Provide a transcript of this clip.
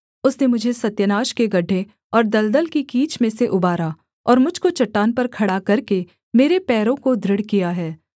उसने मुझे सत्यानाश के गड्ढे और दलदल की कीच में से उबारा और मुझ को चट्टान पर खड़ा करके मेरे पैरों को दृढ़ किया है